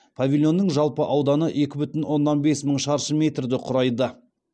павильонның жалпы ауданы екі бүтін оннан бес мың шаршы метрді құрайды